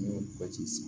basi san